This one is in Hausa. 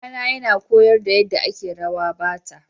Kakana yana koyar da yadda ake rawa Bata.